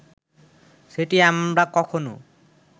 সেটি আমরা কখনো